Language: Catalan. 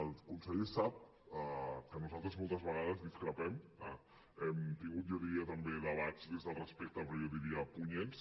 el conseller sap que nosaltres moltes vegades discrepem hem tingut jo diria també debats des del respecte però jo diria punyents